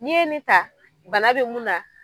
N'i ye nin ta bana bɛ mun na.